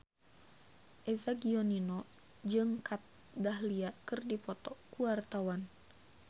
Eza Gionino jeung Kat Dahlia keur dipoto ku wartawan